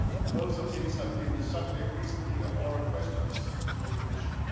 Both of these have been the subject recently of oral questions to the Commission.